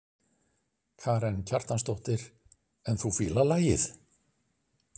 Karen Kjartansdóttir: En þú fílar lagið?